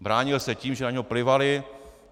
Bránil se tím, že na něho plivaly.